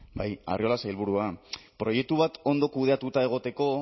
bai arriola sailburua proiektu bat ondo kudeatuta egoteko